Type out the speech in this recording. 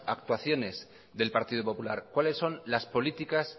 actuaciones del partido popular cuáles son las políticas